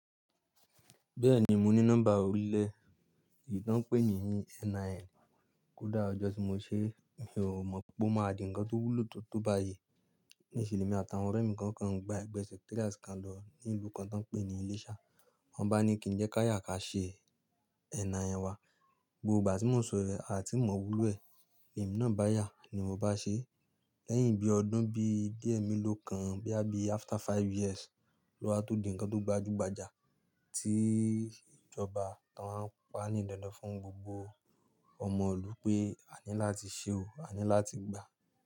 Bẹ́ẹ̀ni mo ní nọ́mbà ọ̀lẹ èyí tán pè níì NIN. Kódà ọjọ́ tí mo ṣe, mi ò mọ̀ pé ó máa di ǹkan tó wúlò tó tó báyìí. Ní ìse lemi àtàwọn ọ̀rẹ́ mi kan kàn gba ẹgbẹ́ secretariat kan lọ ní ìlú kan tí wọ́n ń pè ní Ileṣa. Wọ́n bá ni kí n jẹ́ ká yà ká ṣe NIN wa. Gbogbo ìgbà tí mo nsọ yi, a ti mọ wúlò ẹ̀. Ẹ̀mí náà bá yà ni mo bá ṣe é. Lẹ́yìn bí ọdún bí díẹ̀ mí ló kan bóyá bí i after five years ló wá tó di ǹkan tó gbajúgbajà tí ìjọba ti wọ́n wá ń pa á ní dandan fún gbogbo ọmọ ìlú pé, a ní láti ṣe o, a ní láti gbà.